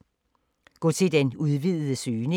Gå til den udvidede søgning